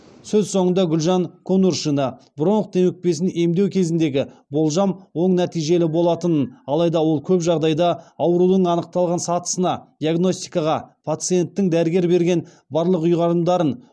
сөз соңында гүлжан конуршина бронх демікпесін емдеу кезіндегі болжам оң нәтижелі болатынын алайда ол көп жағдайда аурудың анықталған сатысына диагностикаға пациенттің дәрігер берген барлық ұйғарымдарын